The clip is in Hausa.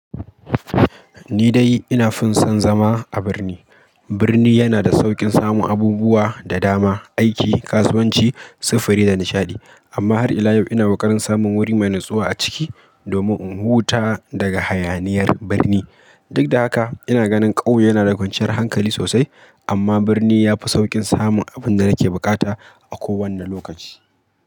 Ni dai ina fin son zama a birni. Birni yana da saukin samun abubuwa da dama, aiki, kasuwanci, sufuri da nishaɗi. Amma har ila yau ina kokarin samun wuri mai natsuwa a ciki domin in huta daga hayaniyar birni. Duk da haka, ina ganin ƙauye yana da kwanciyar hankali sosai, amma birni ya fi sauƙin samun abin da nake bukata a kowane lokaci.